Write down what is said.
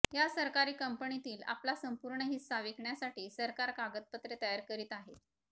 या सरकारी कंपनीतील आपला संपूर्ण हिस्सा विकण्यासाठी सरकार कागदपत्रे तयार करीत आहे